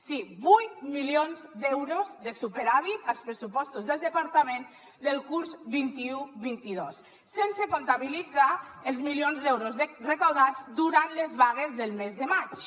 sí vuit milions d’euros de superàvit als pressupostos del departament del curs vint un vint dos sense comptabilitzar els milions d’euros recaptats durant les vagues del mes de maig